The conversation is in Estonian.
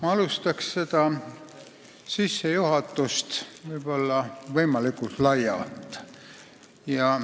Ma alustan seda sissejuhatust võimalikult laialt.